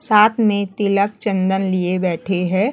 साथ में तिलक चंदन लिए बैठी है।